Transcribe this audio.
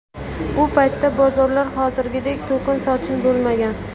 U paytda bozorlar hozirgidek to‘kin-sochin bo‘lmagan.